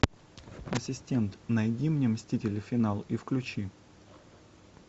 ассистент найди мне мстители финал и включи